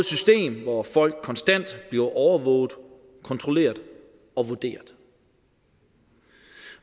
system hvor folk konstant bliver overvåget kontrolleret og vurderet